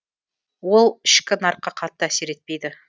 ол ішкі нарыққа қатты әсер етпейді